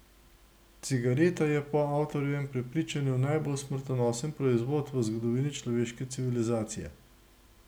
Cigareta je po avtorjevem prepričanju najbolj smrtonosen proizvod v zgodovini človeške civilizacije.